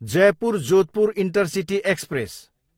Jaipur, Jodhpur intercity express